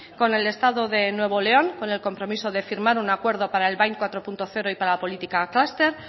con el estado de nuevo de león con el compromiso de firmar un acuerdo para el bind cuatro punto cero y para la política clúster